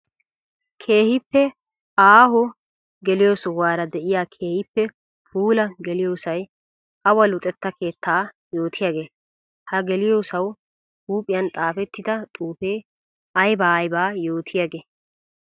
Keehippe aaho geliyo sohuwara de'iya keehippe puula geliyossay awa luxetta keetta yootiyaage? Ha geliyossawu huuphiyan xaafettidda xuufe aybba aybba yootiyaage?